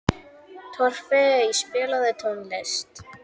Torfey, spilaðu tónlist.